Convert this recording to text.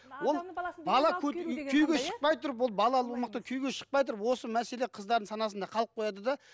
ол бала үй күйеуге шықпай тұрып ол балалы болмақ күйеуге шықпай тұрып осы мәселе қыздардың санасында қалып қояды да